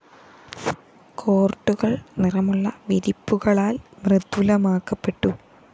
കോര്‍ട്ടുകള്‍ നിറമുള്ള വിരിപ്പുകളാല്‍ മൃദുലമാക്കപ്പെട്ടു